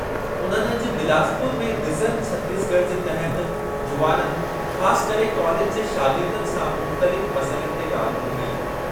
उन्हनि अॼु बिलासपुर में विजन छतीसगढ़ जे तहति जुवाननि, ख़ासि करे कालेज जे शागिर्दनि, सां मुख़्तलिफ़ मसइलनि ते ॻाल्हि ॿोलि कई।